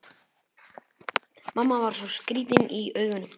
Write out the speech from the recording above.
Mamma var svo skrýtin í augunum.